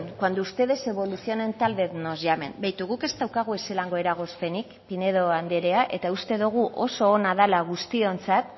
cuando ustedes evolucionen tal vez nos llamen begiratu guk ez daukagu ezelango eragozpenik pinedo anderea eta uste dogu oso ona dala guztiontzat